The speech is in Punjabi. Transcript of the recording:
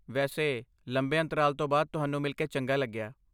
ਵੈਸੇ, ਲੰਬੇ ਅੰਤਰਾਲ ਤੋਂ ਬਾਅਦ ਤੁਹਾਨੂੰ ਮਿਲ ਕੇ ਚੰਗਾ ਲੱਗਿਆ।